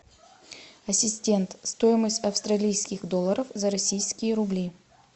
ассистент стоимость австралийских долларов за российские рубли